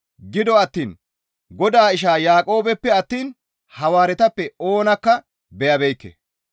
Gido attiin Godaa ishaa Yaaqoobeppe attiin Hawaaretappe oonakka beyabeekke.